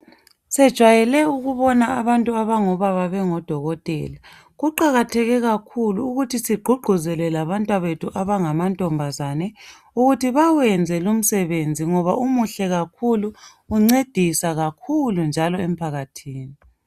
Sijwayele ukubona abantu abangobaba bengabodokotela, kuqakatheke kakhulu ukuthi sigqugquzele labantwana bethu abangamantombazana ukuthi bawenze lumsebenzi ngoba umuhle kakhulu njalo uluncedo kakhulu emphakathini.